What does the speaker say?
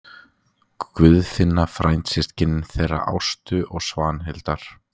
Guðfinna frændsystkin þeirra Ástu og Svanhildar.